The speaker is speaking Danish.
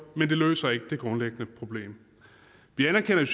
men det løser ikke det grundlæggende problem vi anerkender i